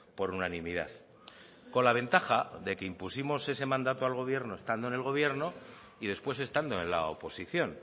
por unanimidad con la ventaja de que impusimos ese mandato al gobierno y luego estando en el gobierno y después estando en la oposición